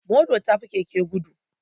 Mota ta fi keke gudu